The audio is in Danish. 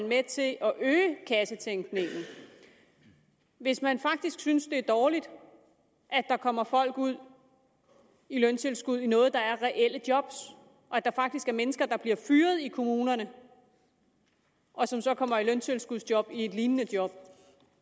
med til at øge kassetænkningen hvis man faktisk synes det er dårligt at der kommer folk ud i løntilskud i noget der er reelle job og at der faktisk er mennesker der bliver fyret i kommunerne og som så kommer i løntilskudsjob i et lignende job